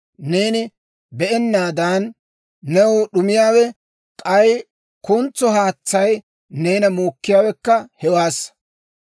Neeni be'ennaadan, new d'umiyaawe; k'ay kuntso haatsay neena muukkiyaawekka hewaassa.